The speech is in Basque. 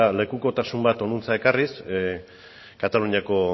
lekukotasun bat honantz ekarriz kataluniako